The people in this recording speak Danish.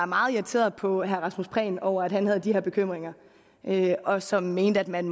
meget irriteret på herre rasmus prehn over at han havde de her bekymringer og som mente at man